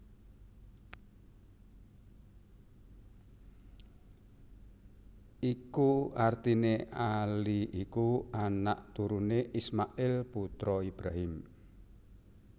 Iku artiné Ali iku anak turuné Ismail putra Ibrahim